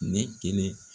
Ne kelen